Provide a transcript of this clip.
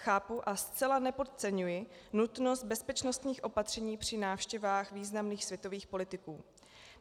Chápu a zcela nepodceňuji nutnost bezpečnostních opatření při návštěvách významných světových politiků.